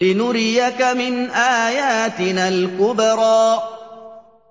لِنُرِيَكَ مِنْ آيَاتِنَا الْكُبْرَى